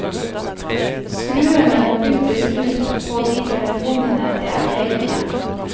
Skruene må byttes ut på de telefonene det er feil med.